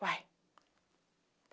Uai.